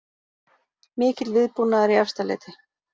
Mikill viðbúnaður í Efstaleiti